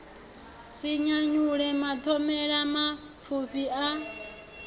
si nyanyule mathomele mapfufhi a